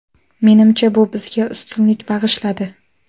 Menimcha bu bizga ustunlik bag‘ishladi.